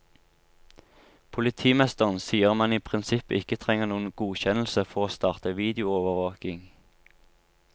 Politimesteren sier man i prinsippet ikke trenger noen godkjennelse for å starte videoovervåking.